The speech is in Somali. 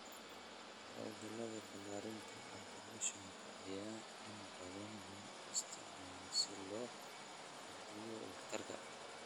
Hawlgallada ballaarinta, automation-ka ayaa inta badan loo isticmaalaa si loo kordhiyo waxtarka.